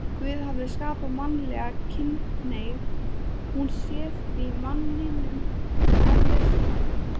Guð hafi skapað mannlega kynhneigð, hún sé því manninum eðlislæg.